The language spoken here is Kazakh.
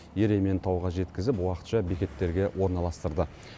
ерейментауға жеткізіп уақытша бекеттерге орналастырды